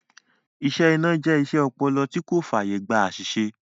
Iṣẹ́ iná jẹ iṣẹ́ ọpọlọ tí kò fàyè gba àsìsè